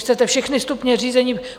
Chcete všechny stupně řízení?